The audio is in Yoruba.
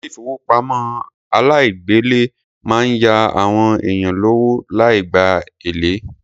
Ilé ìfowópamọ́ aláìgbèlé máa ń ya àwọn èèyàn lówó láì gba èlé.